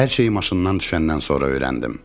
Hər şeyi maşından düşəndən sonra öyrəndim.